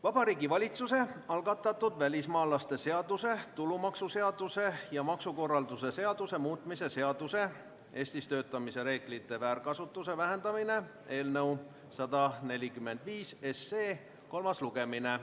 Vabariigi Valitsuse algatatud välismaalaste seaduse, tulumaksuseaduse ja maksukorralduse seaduse muutmise seaduse eelnõu 145 kolmas lugemine.